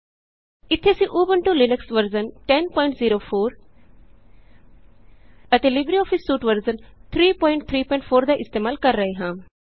ਇਥੇ ਅਸੀਂ Ubuntu Linux version 1004 ਅਤੇ ਲਿਬਰੇਆਫਿਸ ਸੂਟ ਵਰਜ਼ਨ 334 ਦਾ ਇਸਤੇਮਾਲ ਕਰ ਰਹੇ ਹਾਂ